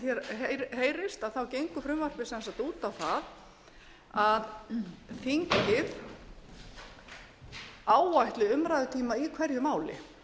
hér heyrist gengur frumvarpið sem sagt út á það að þingið áætli umræðutíma í hverju máli